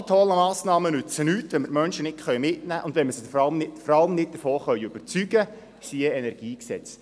Alle tollen Massnahmen nützen nichts, wenn wir die Menschen nicht mitnehmen können, und wenn wir sie nicht überzeugen können – siehe Energiegesetz.